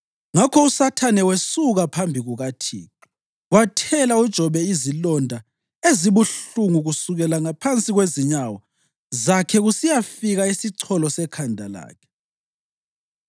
Ngakho uSathane wasesuka phambi kukaThixo wathela uJobe izilonda ezibuhlungu kusukela ngaphansi kwezinyawo zakhe kusiyafika esicholo sekhanda lakhe.